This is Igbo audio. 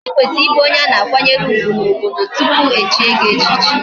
Ikwesiri ibu onye ana akwanyere ugwu na obodo tupu echie gi echichi ichie